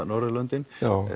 Norðurlöndin